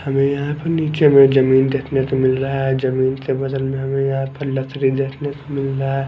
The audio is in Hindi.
हमें यहां पे नीचे में जमीन देखने को मिल रहा है जमीन के बगल में हमें यहां पे लकड़ी देखने को मिल रहा--